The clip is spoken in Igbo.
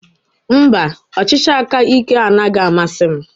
Mba, ọchịchị aka ike anaghị amasị m.